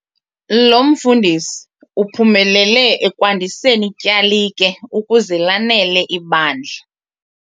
Lo mfundisi uphumelele ekwandiseni ityalike ukuze lanele ibandla.